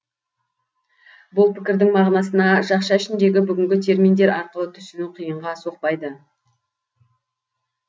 бұл пікірдің мағынасына жақша ішіндегі бүгінгі терминдер арқылы түсіну қиынға соқпайды